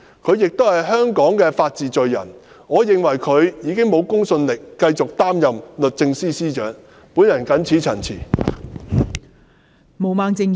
她是香港法治的罪人，我認為她欠缺公信力繼續擔任律政司司長一職。